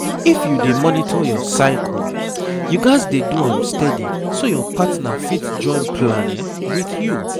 if you dey monitor your cycle you gats dey do am steady so your partner fit join plan with you.